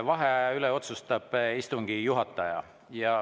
Vaheaja üle otsustab istungi juhataja.